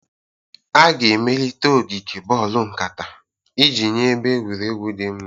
A ga-emelite ogige boolu nkata iji nye ebe egwuregwu dị mma.